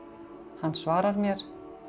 hann svarar mér